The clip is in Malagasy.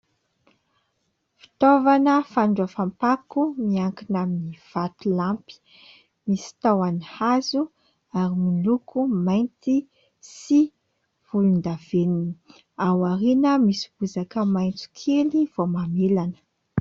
Fitaovana fandraofam-pako miankina amin'ny vatolampy, misy tahony hazo ary miloko mainty sy volondavenona. Ao aoriana misy bozaka maitso kely vao mamelana.